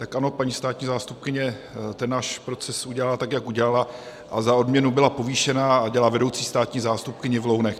Tak ano, paní státní zástupkyně ten náš proces udělala tak, jak udělala, a za odměnu byla povýšená a dělá vedoucí státní zástupkyni v Lounech.